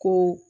Ko